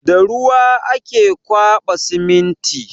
Da ruwa ake ƙwaba siminti.